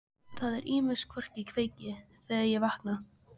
Það er ýmist hvort ég kveiki, þegar ég vakna.